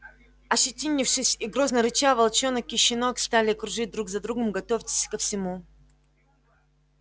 ощетинившись и грозно рыча волчонок и щенок стали кружить друг за другом готовьтесь ко всему